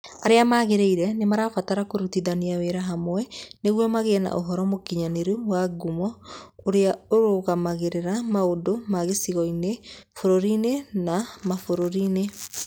Arĩa magĩrĩire nĩ marabatara kũrutithania wĩra hamwe nĩguo magĩe na ũhoro mũkinyanĩru wa ngumo, ũrĩa ũrũgamagĩrĩra maũndũ ma gĩcigo-inĩ, bũrũri-inĩ, na mabũrũri-inĩ